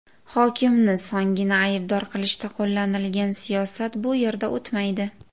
Hokimni songina aybdor qilishda qo‘llanilgan siyosat bu yerda o‘tmaydi.